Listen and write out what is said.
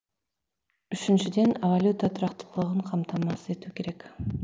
үшіншіден валюта тұрақтылығын қамтамасыз ету керек